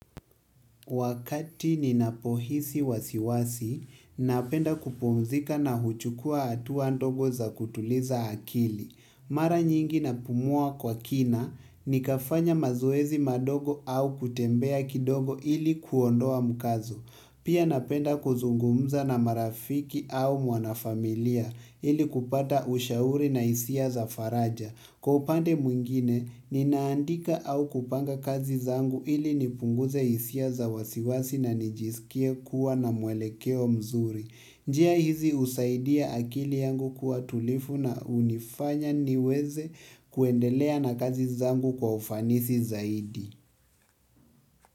Wakati ninapohisi wasiwasi, napenda kupumzika na huchukua hatua ndogo za kutuliza akili. Mara nyingi napumua kwa kina, nikafanya mazoezi madogo au kutembea kidogo ili kuondoa mkazo. Pia napenda kuzungumza na marafiki au mwanafamilia ili kupata ushauri na hisia za faraja. Kwa upande mwingine, ninaandika au kupanga kazi zangu ili nipunguze hisia za wasiwasi na nijisikie kuwa na mwelekeo mzuri. Njia hizi husaidia akili yangu kuwa tulivu na hunifanya niweze kuendelea na kazi zangu kwa ufanisi zaidi.